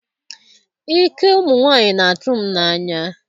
ike ụmụ nwanyị na-atụ m n'anya